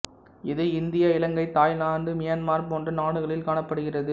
இது இந்தியா இலங்கை Thailand Myanmar போன்ற நாடுகளில் காணப்படுகிறது